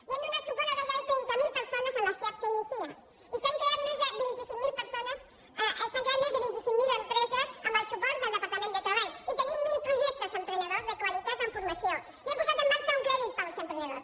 i hem donat suport a gairebé trenta mil persones en la xarxa inicia i s’han creat més de vint cinc mil empreses amb el suport del departament de treball i tenim mil projectes emprenedors de qualitat en formació i hem posat en marxa un crèdit per als emprenedors